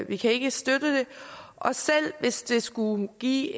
vi kan ikke støtte det og selv hvis det skulle give